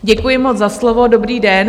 Děkuji moc za slovo, dobrý den.